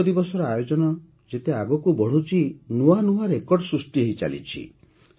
ଯୋଗ ଦିବସର ଆୟୋଜନ ଯେତିକି ଆଗକୁ ବଢ଼ୁଛି ନୂଆନୂଆ ରେକର୍ଡ ସୃଷ୍ଟି ହୋଇଚାଲିଛି